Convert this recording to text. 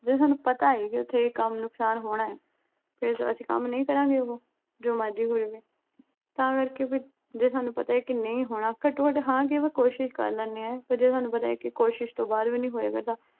ਜਦੋਂ ਤੁਹਾਨੂੰ ਪਤਾ ਏ ਕਿ ਇੱਥੇ ਇਹ ਕੰਮ ਨੁਕਸਾਨ ਹੋਣਾ ਏ ਫਿਰ ਅਸੀਂ ਕੰਮ ਨਹੀਂ ਕਰਾਗੇ ਉਹੋ ਜੋ ਮਰਜ਼ੀ ਹੋ ਜਵੇ। ਤਾਂ ਕਰਕੇ ਫਿਰ ਜਦੋਂ ਤੁਹਾਨੂੰ ਪਤਾ ਏ ਨਹੀਂ ਹੋਣਾ ਘੱਟੋ-ਘੱਟ ਹਾਂ ਕਹਿਕੇ ਕੋਸ਼ਿਸ਼ ਕਰ ਲੈਨੇ ਆ ਫਿਰ ਜਦੋਂ ਤੁਹਾਨੂੰ ਪਤਾ ਏ ਕਿ ਕੋਸ਼ਿਸ਼ ਤੋਂ ਬਾਅਦ ਵੀ ਨਹੀਂ ਹੋ ਰਿਹਾ ਫਿਰ ਤਾਂ